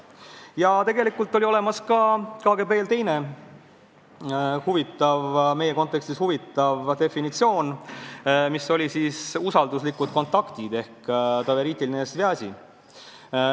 Ja tegelikult oli ka KGB-l olemas teine, meie kontekstis huvitav definitsioon: usalduslikud kontaktid ehk doveritelnõje svjazi.